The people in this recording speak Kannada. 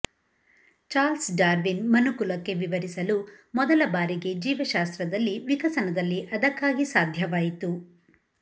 ಚಾರ್ಲ್ಸ್ ಡಾರ್ವಿನ್ ಮನುಕುಲಕ್ಕೆ ವಿವರಿಸಲು ಮೊದಲ ಬಾರಿಗೆ ಜೀವಶಾಸ್ತ್ರದಲ್ಲಿ ವಿಕಸನದಲ್ಲಿ ಅದಕ್ಕಾಗಿ ಸಾಧ್ಯವಾಯಿತು